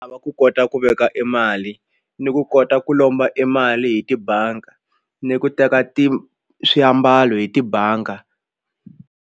va ku kota ku veka e mali ni ku kota ku lomba e mali hi tibangi ni ku teka swiambalo hi tibanga.